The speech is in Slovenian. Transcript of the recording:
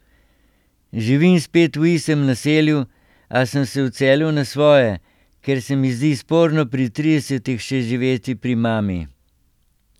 Živim spet v istem naselju, a sem se odselil na svoje, ker se mi zdi sporno pri tridesetih še živeti pri mami.